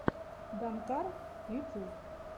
данкар ютюб